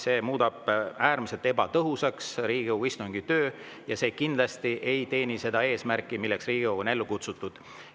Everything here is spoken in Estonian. See muudaks Riigikogu istungi töö äärmiselt ebatõhusaks ja see kindlasti ei teeni seda eesmärki, milleks Riigikogu on ellu kutsutud.